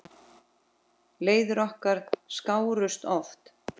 Leiðir okkar skárust oft.